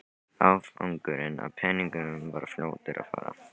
Afgangurinn af peningunum var fljótur að fara.